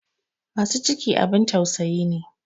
Masu ciki abin tausayi ne.